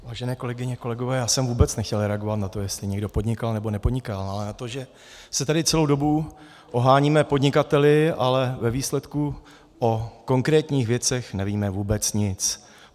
Vážené kolegyně, kolegové, já jsem vůbec nechtěl reagovat na to, jestli někdo podnikal, nebo nepodnikal, ale na to, že se tady celou dobu oháníme podnikateli, ale ve výsledku o konkrétních věcech nevíme vůbec nic.